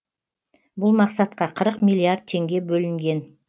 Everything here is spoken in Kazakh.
бұл мақсатқа қырық миллиард теңге бөлінген